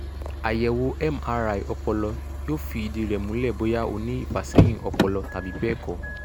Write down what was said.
àyẹ̀wò mri ọpọlọ yóò fi ìdí rẹ̀ múlẹ̀ bóyá ó ní ìfàsẹ́yìn ọpọlọ tàbí bẹ́ẹ̀ kọ́